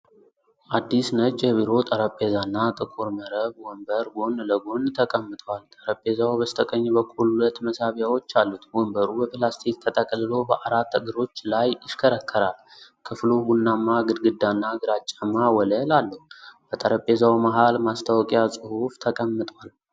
አዲስ ነጭ የቢሮ ጠረጴዛና ጥቁር መረብ ወንበር ጎን ለጎን ተቀምጠዋል። ጠረጴዛው በስተቀኝ በኩል ሁለት መሳቢያዎች አሉት፤ ወንበሩ በፕላስቲክ ተጠቅልሎ በአራት እግሮች ላይ ይሽከረከራል። ክፍሉ ቡናማ ግድግዳና ግራጫማ ወለል አለው። በጠረጴዛው መሃል ማስታወቂያ ጽሑፍ ተቀምጧል።